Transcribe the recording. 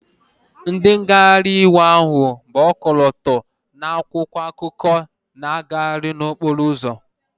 Ndị ngagharị iwe ahụ bu ọkọlọtọ na akwụkwọ akụkọ na-aga n'okporo ụzọ